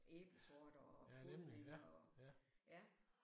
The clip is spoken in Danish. Æblesorter og podning og ja